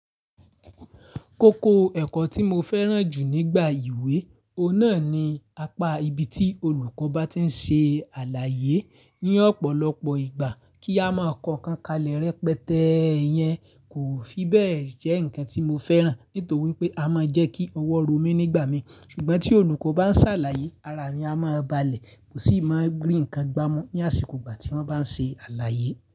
Kókó ẹ̀kọ́ tí mo fẹ́ràn jù nígbà ìwé, òun náà ni apá ibi tí olùkọ́ bá ti ń ṣe àlàyé. Ní ọ̀pọ̀lọpọ̀ ìgbà kí a máa kọ ń kankan lẹ́rẹ̀ẹ́ pẹ́tẹ̀ yẹn kò fi bẹ́ẹ̀ jẹ́ ǹkan tí mo fẹ́ràn, nítorí pé a máa ń jẹ́ kí ọwọ́ ro mí nígbà mi. Ṣùgbọ́n tí olùkọ́ bá ń ṣàlàyé ara mi a máa balẹ̀, mo sì máa rin ǹkan gbá mú ní àsìkò ìgbà tí wọ́n bá ń ṣe àlàyé.